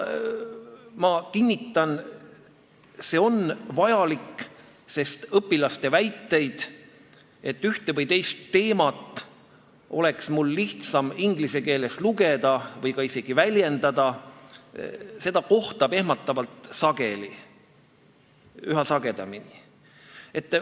Ma kinnitan, et see on vajalik, sest õpilaste väiteid, et ühte või teist teemat oleks tal lihtsam inglise keeles lugeda või ka isegi väljendada, kohtab ehmatavalt sageli, üha sagedamini.